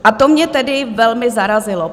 A to mě tedy velmi zarazilo.